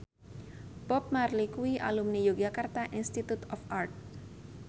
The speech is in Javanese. Bob Marley kuwi alumni Yogyakarta Institute of Art